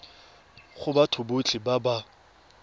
go batho botlhe ba ba